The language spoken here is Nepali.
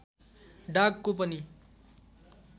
डाग को पनि